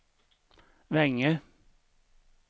Vänge